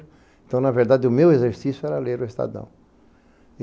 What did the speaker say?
Então, na verdade, o meu exercício era ler o Estadão.